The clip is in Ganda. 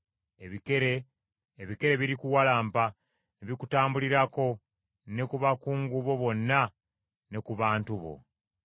Ebikere birikuwalampa ne bikutambulirako ne ku bakungu bo bonna ne ku bantu bo.” ’”